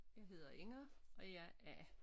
Jeg hedder Inger og jeg er A